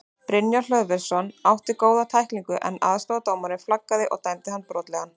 Brynjar Hlöðversson átti góða tæklingu en aðstoðardómarinn flaggaði og dæmdi hann brotlegan.